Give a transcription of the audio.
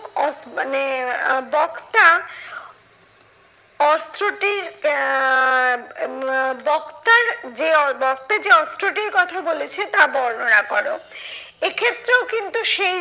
আহ মানে বক্তা অস্ত্রটির আহ আহ বক্তার যে আহ বক্তার যে অস্ত্রটির কথা বলেছে তা বর্ণনা করো। এক্ষেত্রেও কিন্তু সেই